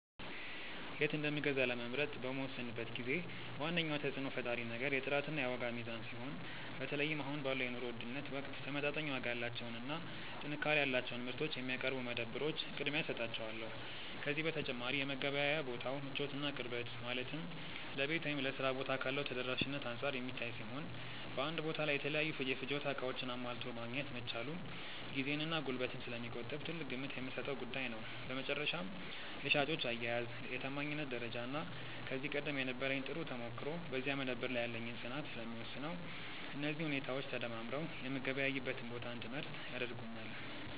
የት እንደምገዛ ለመምረጥ በምወስንበት ጊዜ ዋነኛው ተጽዕኖ ፈጣሪ ነገር የጥራትና የዋጋ ሚዛን ሲሆን፣ በተለይም አሁን ባለው የኑሮ ውድነት ወቅት ተመጣጣኝ ዋጋ ያላቸውንና ጥንካሬ ያላቸውን ምርቶች የሚያቀርቡ መደብሮች ቅድሚያ እሰጣቸዋለሁ። ከዚህ በተጨማሪ የመገበያያ ቦታው ምቾትና ቅርበት፣ ማለትም ለቤት ወይም ለሥራ ቦታ ካለው ተደራሽነት አንጻር የሚታይ ሲሆን፣ በአንድ ቦታ ላይ የተለያዩ የፍጆታ ዕቃዎችን አሟልቶ ማግኘት መቻሉም ጊዜንና ጉልበትን ስለሚቆጥብ ትልቅ ግምት የምሰጠው ጉዳይ ነው። በመጨረሻም የሻጮች አያያዝ፣ የታማኝነት ደረጃና ከዚህ ቀደም የነበረኝ ጥሩ ተሞክሮ በዚያ መደብር ላይ ያለኝን ፅናት ስለሚወስነው፣ እነዚህ ሁኔታዎች ተደማምረው የምገበያይበትን ቦታ እንድመርጥ ያደርጉኛል።